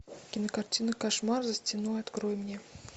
кинокартина кошмар за стеной открой мне